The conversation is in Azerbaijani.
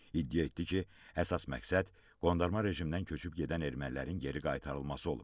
İddia etdi ki, əsas məqsəd qondarma rejimdən köçüb gedən ermənilərin geri qaytarılması olub.